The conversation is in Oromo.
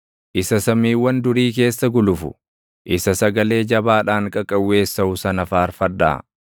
isa samiiwwan durii keessa gulufu, isa sagalee jabaadhaan qaqawweessaʼu sana faarfadhaa.